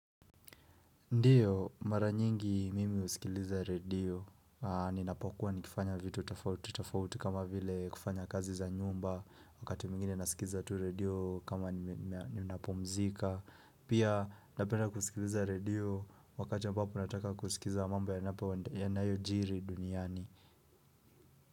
Ndiyo, mara nyingi mimi usikiliza radio, ninapokuwa nikifanya vitu tofauti tofauti kama vile kufanya kazi za nyumba wakati mingine nasikiza tu radio kama ninapumzika, pia napenda kusikiliza radio wakati ambapo nataka kusikiza mambo yanapo nayojiri duniani.